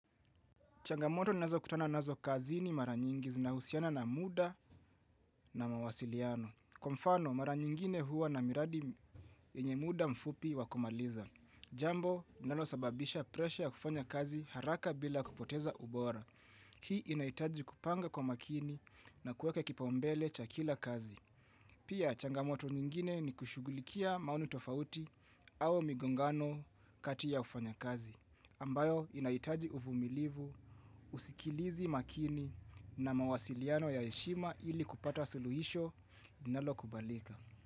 Changamoto nazo kutana nazo kazini mara nyingi zinahusiana na muda na mawasiliano. Kwa mfano, mara nyingine huwa na miradi yenye muda mfupi wakumaliza. Jambo, nalosababisha presha ya kufanya kazi haraka bila kupoteza ubora. Hii inahitaji kupanga kwa makini na kueke kipaumbele cha kila kazi. Pia, changamoto nyingine ni kushugulikia maoni tofauti au migongano katia ya wafanyikazi. Ambayo inaitaji uvumilivu, usikilizi makini na mawasiliano ya heshima ili kupata suluhisho nalokubalika.